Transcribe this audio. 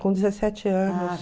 Com dezessete anos.